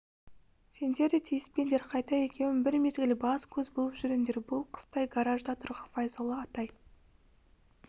сендер де тиіспеңдер қайта екеуің бір мезгіл бас-көз болып жүріңдер бұл қыстай гаражда тұрған файзолла атай